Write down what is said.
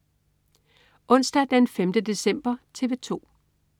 Onsdag den 5. december - TV 2: